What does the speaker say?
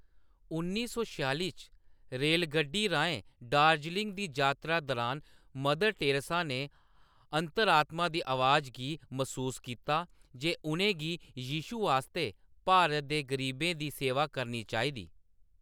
उन्नी सै छेआली च, रेलगड्डी राहें दार्जिलिंग दी जातरा दरान, मदर टेरेसा ने अंतरात्मा दी आवाज गी मसूस कीता जे उʼनें गी यीशु आस्तै भारत दे गरीबें दी सेवा करनी चाहिदी।